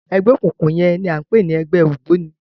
Ẹgbẹ okunkun yẹn ni a ń pè ní ẹgbẹ ògbóni